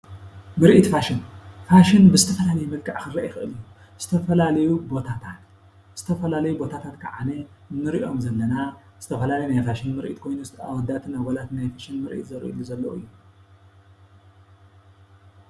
ምሪኢት ፋሽን ፋሽን ብዝተፋላለየ መልክዕ ክርአ ይክእል እዩ። ዝተፈላለዩ ቦታታት ከዓኒ ንርእዮም ዘለና ዝተፈላለዩ ናይ ፋሽን ምርኢት ኮይኑ ኣወዳትን ኣጎላትን ናይ ፈሻን ምርኢት ዘርእዩሉ ዘሎ እዩ።